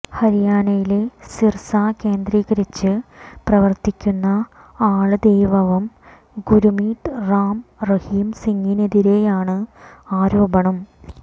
ഹരിയാനയിലെ സിര്സ കേന്ദ്രീകരിച്ച് പ്രവര്ത്തിക്കുന്ന ആള് ദൈവവം ഗുര്മീത് റാം റഹിം സിംഗിനെതിരെയാണ് ആരോപണം